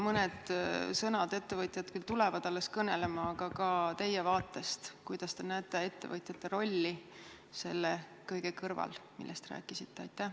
Ettevõtjad küll tulevad alles kõnelema, aga ka teie vaatest võib-olla mõned sõnad, kuidas te näete ettevõtjate rolli selle kõige kõrval, millest te rääkisite?